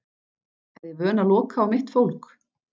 Er ég vön að loka á mitt fólk?